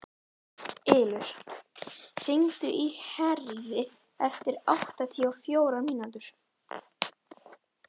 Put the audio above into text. Ylur, hringdu í Herríði eftir áttatíu og fjórar mínútur.